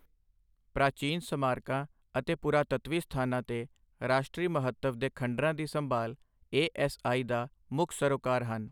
ਪ੍ਰਾਚੀਨ ਸਮਾਰਕਾਂ ਅਤੇ ਪੁਰਾਤਤਵੀ ਸਥਾਨਾਂ ਤੇ ਰਾਸ਼ਟਰੀ ਮਹੱਤਵ ਦੇ ਖੰਡਰਾਂ ਦੀ ਸੰਭਾਲ ਏ.ਐਸ.ਆਈ. ਦਾ ਮੁੱਖ ਸਰੋਕਾਰ ਹਨ।